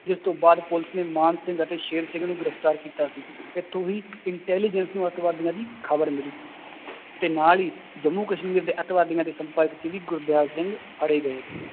ਜਿਸ ਤੋਂ ਬਾਅਦ ਪੁਲਿਸ ਨੇ ਮਾਨ ਸਿੰਘ ਅਤੇ ਸ਼ੇਰ ਸਿੰਘ ਨੂੰ ਗ੍ਰਿਫ਼ਤਾਰ ਕੀਤਾ ਸੀ, ਇੱਥੋਂ ਹੀ intelligence ਨੂੂੰ ਆਤੰਕਵਾਦੀਆਂ ਦੀ ਖ਼ਬਰ ਮਿਲੀ ਸੀ ਤੇ ਨਾਲ ਹੀ ਜੰਮੂ ਕਸ਼ਮੀਰ ਦੇ ਆਤੰਕਵਾਦੀਆਂ ਦੇ ਸੰਪਰਕ 'ਚ ਵੀ ਗਰਦਿਆਲ ਸਿੰਘ ਫੜੇ ਗਏ